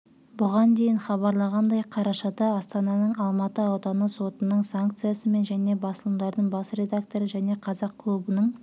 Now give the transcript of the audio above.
бұған дейін хабарланғандай қарашада астананың алматы ауданы сотының санкциясымен және басылымдарының бас редакторы және қазақ клубының